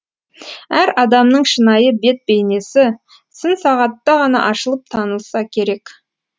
әр адамның шынайы бет бейнесі сын сағатта ғана ашылып танылса керек